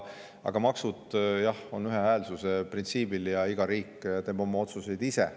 Aga maksud, jah, põhinevad ühehäälsuse printsiibil ja iga riik teeb oma otsuseid ise.